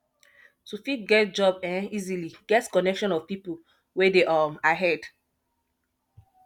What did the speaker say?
to fit get job um easily get connection of pipo wey de um ahead